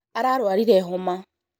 ararwarire homa